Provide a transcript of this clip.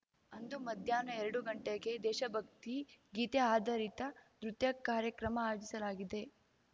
ಅಂದು ಮಧ್ಯಾಹ್ನ ಎರಡು ಗಂಟೆಗೆ ದೇಶಭಕ್ತಿ ಗೀತೆ ಆಧಾರಿತ ನೃತ್ಯ ಕಾರ್ಯಕ್ರಮ ಆಯೋಜಿಸಲಾಗಿದೆ